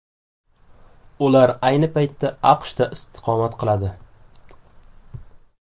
Ular ayni paytda AQShda istiqomat qiladi.